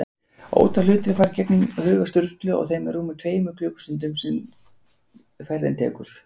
Ótal hlutir fara í gegnum huga Sturlu á þeim rúmu tveimur klukkustundum sem ferðin tekur.